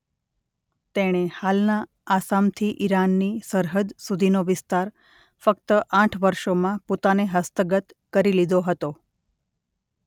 તેણે હાલના આસામથી ઈરાનની સરહદ સુધીનો વિસ્તાર ફક્ત આઠ વર્ષોમાં પોતાને હસ્તગત કરી લીધો હતો.